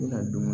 I ka dun